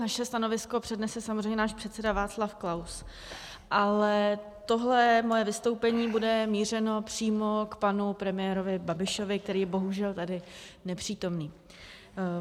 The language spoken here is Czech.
Naše stanovisko přednese samozřejmě náš předseda Václav Klaus, ale tohle moje vystoupení bude mířeno přímo k panu premiérovi Babišovi, který je bohužel tady nepřítomný.